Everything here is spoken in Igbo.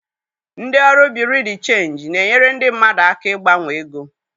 Ndị ọrụ Bureau de Chenji na-enyere ndị mmadụ aka ịgbanwe ego.